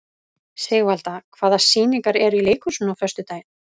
Sigvalda, hvaða sýningar eru í leikhúsinu á föstudaginn?